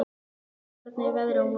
Hrafna, hvernig er veðrið á morgun?